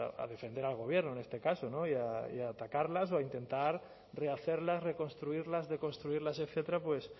a defender al gobierno en este caso y a atacarlas o intentar rehacerlas reconstruirlas deconstruirlas etcétera pues